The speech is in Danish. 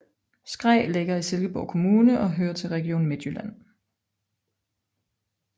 Skræ ligger i Silkeborg Kommune og hører til Region Midtjylland